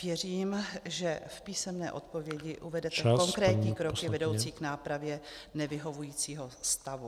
Věřím , že v písemné odpovědi uvedete konkrétní kroky vedoucí k nápravě nevyhovujícího stavu.